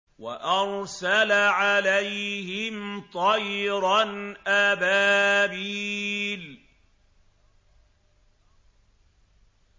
وَأَرْسَلَ عَلَيْهِمْ طَيْرًا أَبَابِيلَ